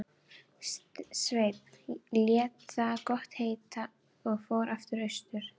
Sveinn lét það gott heita og fór aftur austur.